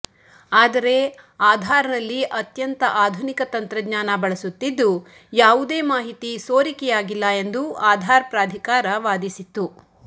ಆದರೆ ಆಧಾರ್ನಲ್ಲಿ ಅತ್ಯಂತ ಆಧುನಿಕ ತಂತ್ರಜ್ಞಾನ ಬಳಸುತ್ತಿದ್ದು ಯಾವುದೇ ಮಾಹಿತಿ ಸೋರಿಕೆಯಾಗಿಲ್ಲ ಎಂದು ಆಧಾರ್ ಪ್ರಾಧಿಕಾರ ವಾದಿಸಿತ್ತು